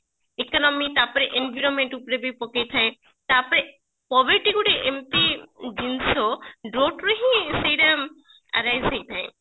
economy ତାପରେ environment ରେ ବି ପକେଇ ଥାଏ ତାପରେ probity ଗୋଟେ ଏମତି ଜିନିଷ brought ରୁ ହିଁ ସେଇଟା arise ହେଇଥାଏ